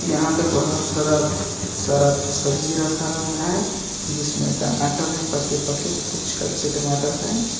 यहां पे बहुत सारा सड़ा सब्ज़ी रखा हुआ है जिसमे टमाटर है पके-पके कुछ कच्चे टमाटर है।